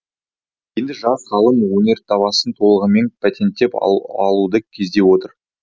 енді жас ғалым өнертабысын толығымен патенттеп алуды көздеп отыр